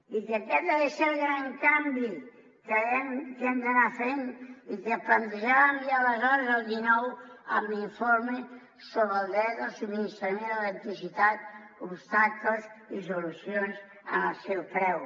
i que aquest de ser el gran canvi que hem d’anar fent i que plantejàvem ja aleshores el dinou amb l’informe sobre el dret al subministrament d’electricitat obstacles i solucions en el seu preu